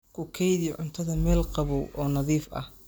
Ku kaydi cuntada meel qabow oo nadiif ah.